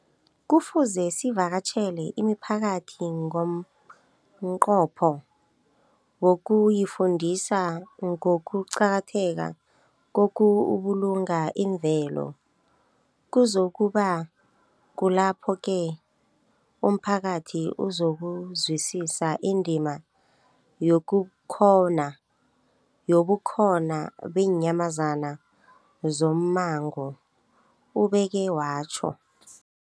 Kufuze sivakatjhele imiphakathi ngomnqopho wokuyifundisa ngokuqakatheka kokubulunga imvelo. Kuzoku ba kulapho-ke umphakathi uzokuzwisisa indima yobukhona beenyamazana zommango, ubeke watjho.